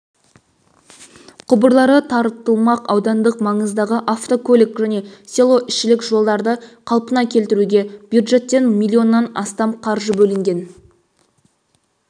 құбырлары тартылмақ аудандық маңыздағы автокөлік және селоішілік жолдарды қалпына келтіруге бюджеттен миллионнан астам қаржы бөлінген